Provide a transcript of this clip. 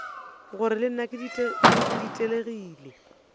gore le nna ke ditelegile